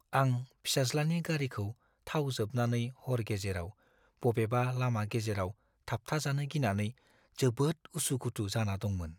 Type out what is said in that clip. आं फिसाज्लानि गारिखौ थाव जोबनानै हर गेजेराव बबेबा लामा गेजेराव थाबथाजानो गिनानै जोबोद उसु-खुथु जाना दंमोन।